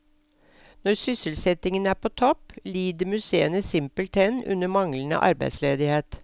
Når sysselsettingen er på topp, lider museene simpelthen under manglende arbeidsledighet.